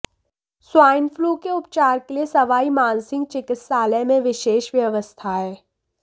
swine flu के उपचार के लिए सवाई मानसिंह चिकित्सालय में विशेष व्यवस्थाएं